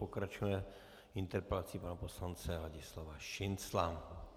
Pokračujeme interpelací pana poslance Ladislava Šincla.